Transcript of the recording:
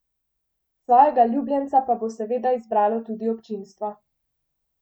Svojega ljubljenca pa bo seveda izbralo tudi občinstvo.